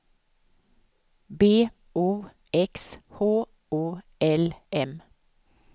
B O X H O L M